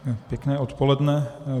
Pěkné odpoledne.